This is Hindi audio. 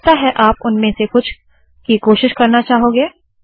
हो सकता है आप उनमें से कुछ की कोशिश करना चाहोगे